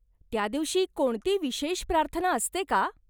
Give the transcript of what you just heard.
त्या दिवशी कोणती विशेष प्रार्थना असते का?